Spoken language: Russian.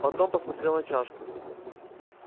потом посмотрел на чашку